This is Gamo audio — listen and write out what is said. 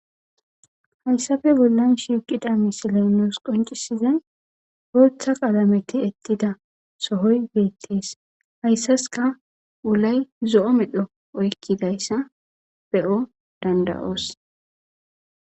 Hayssafe bollan shiIqida misile nuus qoncisizay bootha qalame ti'ettida sohoy beettees. hayssaska wulay zo7o medho oykkidayssa be7o danda'oos.